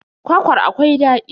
Kwakwar akwai daɗi.